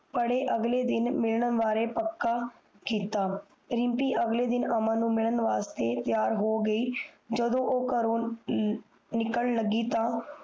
ਪੜ੍ਹੇ ਅਗਲੇ ਦਿਨ ਮਿਲਣ ਵਾਰੇ ਪਕਾ ਕੀਤਾ ਰਿਮਪੀ ਅਮਨ ਨੂੰ ਮਿਲਣ ਵਾਸਤੇ ਤਿਆਰ ਹੋ ਗਯੀ ਜਦੋ ਓ ਕਰੋ ਨਿਕਲਣ ਲਗੀ ਤਾਂ